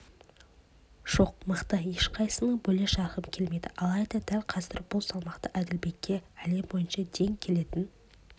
жоқ мықты ешқайсысын бөле-жарғым келмейді алайда дәл қазір бұл салмақта әділбекке әлем бойынша тең келетін